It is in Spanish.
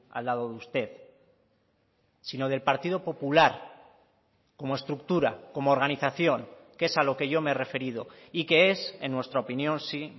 al lado de usted sino del partido popular como estructura como organización que es a lo que yo me he referido y que es en nuestra opinión sí